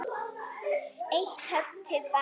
Eitt högg til baka.